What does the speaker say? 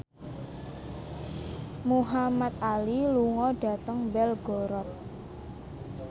Muhamad Ali lunga dhateng Belgorod